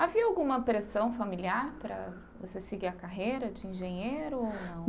Havia alguma pressão familiar para você seguir a carreira de engenheiro ou não?